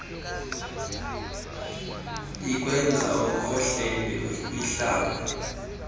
ikwenza ukhohlele ihlaba